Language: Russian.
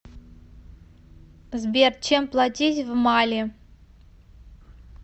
сбер чем платить в мали